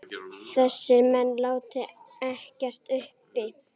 Þessir menn láti ekkert uppi.